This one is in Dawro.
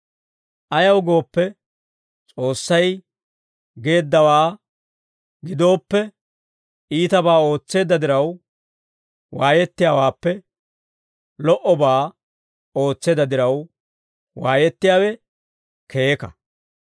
Ayaw gooppe, S'oossay geeddawaa gidooppe, iitabaa ootseedda diraw waayettiyaawaappe, lo"obaa ootseedda diraw waayettiyaawe keeka.